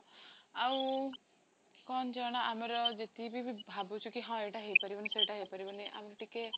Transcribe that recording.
ଆଉ କଣ ଜଣା ଆମର ଯେତିକିବି ଭାବୁଛୁ କି ଏଇଟା ହେଇପାରିବନି ସେଇଟା ହେଇପାରିବନି ଆମେ ଟିକେ